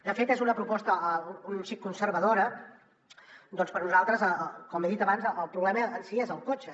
de fet és una proposta un xic conservadora perquè per a nosaltres com he dit abans el problema en si és el cotxe